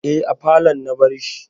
Eh, a falon na bar shi